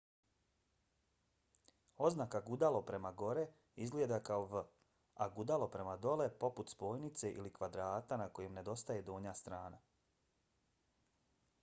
oznaka gudalo prema gore izgleda kao v a gudalo prema dole poput spojnice ili kvadrata na kojem nedostaje donja strana